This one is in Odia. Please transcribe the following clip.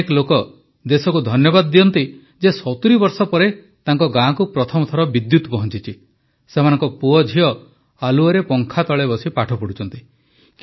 ଅନେକ ଲୋକ ଦେଶକୁ ଧନ୍ୟବାଦ ଦିଅନ୍ତି ଯେ 70 ବର୍ଷ ପରେ ତାଙ୍କ ଗାଁକୁ ପ୍ରଥମ ଥର ବିଦ୍ୟୁତ୍ ପହଁଚିଛି ସେମାନଙ୍କ ପୁଅଝିଅ ଆଲୁଅରେ ପଙ୍ଖାତଳେ ବସି ପାଠ ପଢ଼ୁଛନ୍ତି